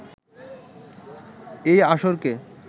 এই আসরকে